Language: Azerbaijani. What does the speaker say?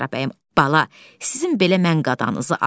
Zəhra bəyəm, bala, sizin belə mən qadanızı alım.